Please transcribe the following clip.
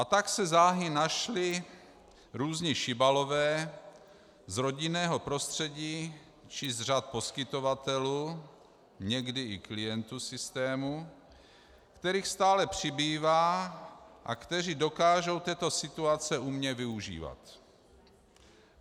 A tak se záhy našli různí šibalové z rodinného prostředí či z řad poskytovatelů, někdy i klientů systému, kterých stále přibývá a kteří dokážou této situace umně využívat.